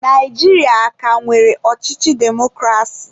Naijiria a ka nwere ọchịchị demokrasi?